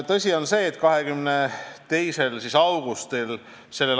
Tõsi on see, et 22. augustil s.